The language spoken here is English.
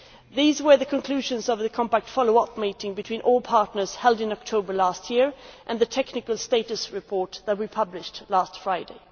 These were the conclusions of the Compact follow up meeting between all partners held in October 2014 and of the technical status report that we published last Friday.